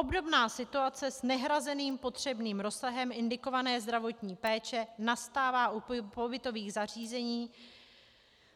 Obdobná situace s nehrazeným potřebným rozsahem indikované zdravotní péče nastává u pobytových zařízení